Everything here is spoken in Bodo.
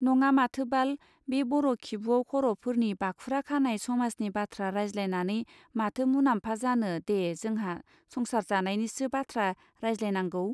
नङा माथो बाल बे बर' खिबुआव खर'फोरनि बाखुराखानाय समाजनि बाथ्रा रायज्लायनानै माथो मुनामफा जानो दे जोंहा संसार जानायनिसो बाथ्रा रायज्लायनांगौ.